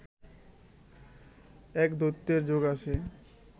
এক দৈত্যের যোগ আছে